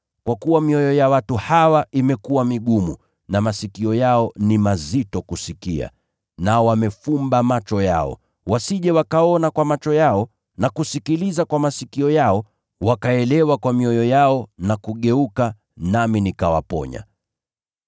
Kwa kuwa mioyo ya watu hawa imekuwa migumu; hawasikii kwa masikio yao, na wamefumba macho yao. Wasije wakaona kwa macho yao, na wakasikiliza kwa masikio yao, wakaelewa kwa mioyo yao, na kugeuka nami nikawaponya.’